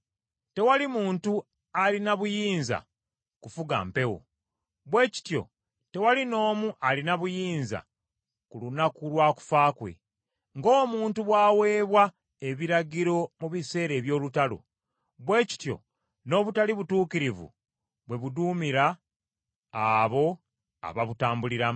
Tewali muntu alina buyinza kufuga mpewo; bwe kityo tewali n’omu alina buyinza ku lunaku lwa kufa kwe. Ng’omuntu bw’aweebwa ebiragiro mu biseera eby’olutalo, bwe kityo n’obutali butuukirivu bwe buduumira abo ababutambuliramu.